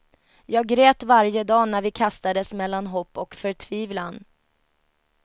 Jag grät varje dag när vi kastades mellan hopp och förtvivlan.